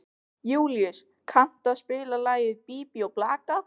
Júlíus, kanntu að spila lagið „Bí bí og blaka“?